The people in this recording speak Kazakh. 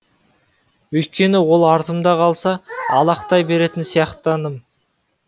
өйткені ол артымда қалса алақтай беретін сияқтандым